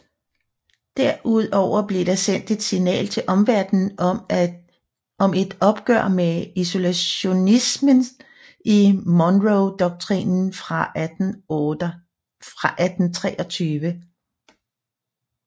Derudover blev der sendt et signal til omverdenen om et opgør med isolationismen i Monroedoktrinen fra 1823